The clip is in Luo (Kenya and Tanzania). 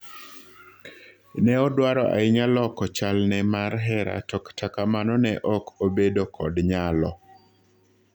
Ne odwaro ahinya loko chal ne mar hera to kata kamano ne ok obedo kod nyalo